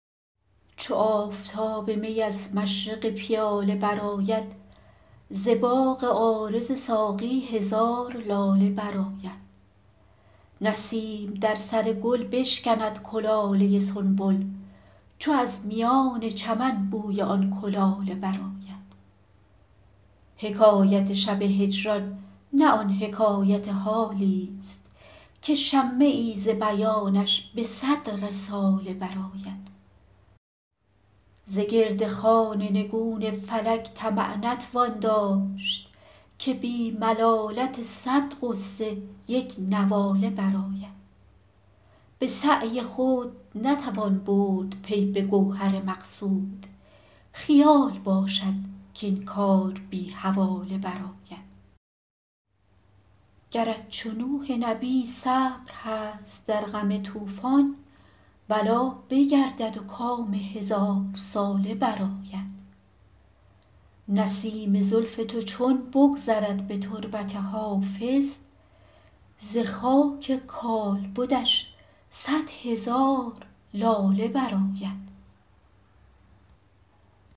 چو آفتاب می از مشرق پیاله برآید ز باغ عارض ساقی هزار لاله برآید نسیم در سر گل بشکند کلاله سنبل چو از میان چمن بوی آن کلاله برآید حکایت شب هجران نه آن حکایت حالیست که شمه ای ز بیانش به صد رساله برآید ز گرد خوان نگون فلک طمع نتوان داشت که بی ملالت صد غصه یک نواله برآید به سعی خود نتوان برد پی به گوهر مقصود خیال باشد کاین کار بی حواله برآید گرت چو نوح نبی صبر هست در غم طوفان بلا بگردد و کام هزارساله برآید نسیم زلف تو چون بگذرد به تربت حافظ ز خاک کالبدش صد هزار لاله برآید